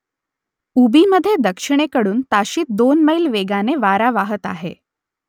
उबीमधे दक्षिणेकडून ताशी दोन मैल वेगाने वारा वाहत आहे